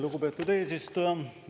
Lugupeetud eesistuja!